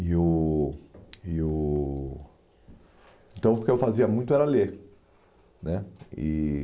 E o e o então, o que eu fazia muito era ler né